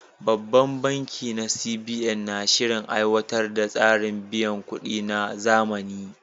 Babban bankin na CBN na shirin aiwatar da tsarin biyan kuɗi na zamani.